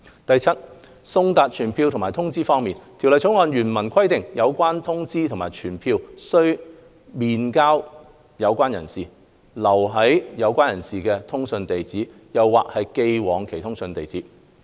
第七，送達傳票或通知方面，《條例草案》原文規定有關通知或傳票須面交有關人士、留在有關人士的通訊地址，或寄往其通訊地址。